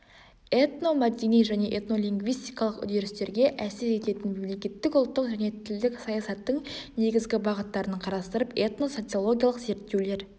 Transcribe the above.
этномәдени және этнолингвистикалық үрдістерге әсер ететін мемлекеттік ұлттық және тілдік саясаттың негізгі бағыттарын қарастырып этно-социологиялық зерттеулер